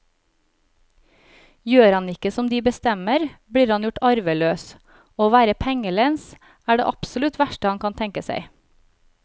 Gjør han ikke som de bestemmer, blir han gjort arveløs, og å være pengelens er det absolutt verste han kan tenke seg.